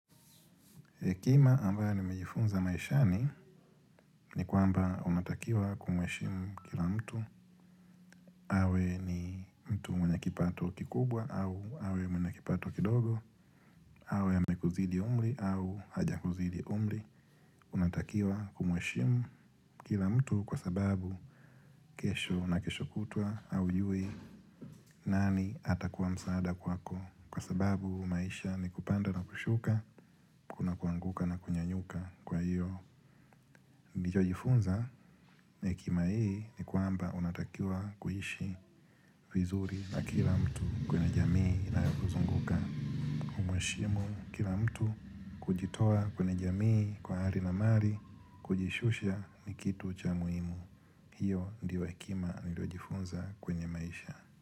Hekima ambayo nimejifunza maishani ni kwamba unatakiwa kumheshimu kila mtu. Awe ni mtu mwenye kipato kikubwa au awe mwenye kipato kidogo. Awe amekuzidi umri au hajakuzidi umri. Unatakiwa kumheshimu kila mtu kwa sababu kesho na kesho kutwa haujui nani atakuwa msaada kwako. Kwa sababu maisha ni kupanda na kushuka, kuna kuanguka na kunyanyuka kwa hiyo nilichojifunza na hekima hii ni kwamba unatakiwa kuishi vizuri na kila mtu kwenye jamii inayokuzunguka. Mheshimu kila mtu kujitoa kwenye jamii kwa hali na mali kujishusha ni kitu cha muhimu. Hiyo ndito hekima niliojifunza kwenye maisha.